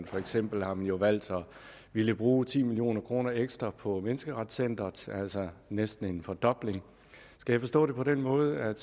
for eksempel har man jo valgt at ville bruge ti million kroner ekstra på menneskerettigheder altså næsten en fordobling skal jeg forstå det på den måde at